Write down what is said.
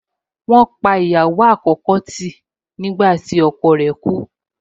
Wọ́n fi ìyàwó àkọ́kọ́ náà kálẹ̀ nígbàtí ọkọ rẹ̀ kú